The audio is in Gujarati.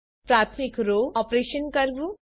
પ્રાથમિક રો ઓપરેશન કરવું